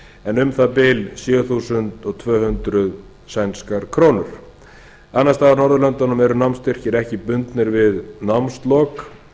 en um það bil sjö þúsund tvö hundruð sænskar krónur annars staðar á norðurlöndunum eru námsstyrkir ekki bundnir við námslok